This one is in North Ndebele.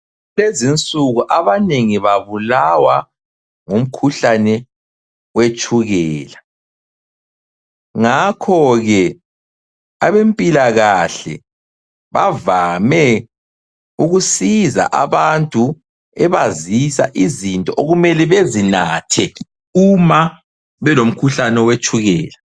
Kulezi insuku, abanengi babulawa ngumkhuhlane wetshukela. Ngakhoke, abempilakahle bavame ukusiza abantu bebazisa izinto okumele bezinathe uma belomkhuhlane wetshukela.